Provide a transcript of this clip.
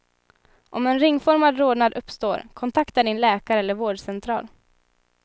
Om en ringformad rodnad uppstår, kontakta din läkare eller vårdcentral.